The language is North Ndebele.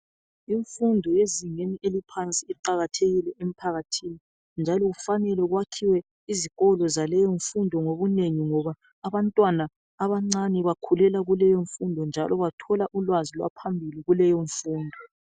Imfundo yezingeni eliphansi iqakathekile emphakathini njalo kufanele kwakhiwe izikolo zaleyi mfundo ngobunengi ngoba abantwana bakhulela kuleyomfundo njalo bathola ulwazi lwaphambili kuleyomfundo